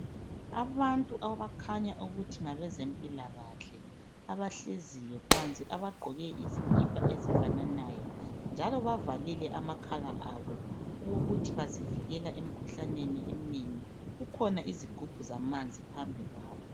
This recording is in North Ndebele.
Abantu abakhanya ukuthi ngabezempilakahle abahleziyo phansi abagqoke izikipa ezifananayo njalo bavalile amakhala abo okokuthi bazivikela emkhuhlaneni eminengi. Kukhona izigubhu zamanzi phambi kwabo.